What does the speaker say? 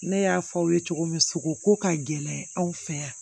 Ne y'a fɔ aw ye cogo min sogo ko ka gɛlɛn anw fɛ yan